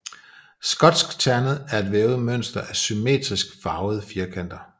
Skotskternet er et vævet mønster af symmetrisk farvede firkanter